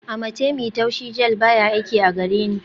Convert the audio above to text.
Amatemí taushi gel baya aiki a gareni